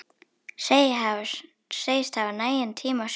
Segist hafa nægan tíma sjálf.